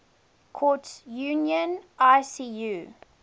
courts union icu